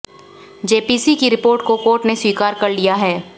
JPC की report को court ने स्वीकार कर लिया है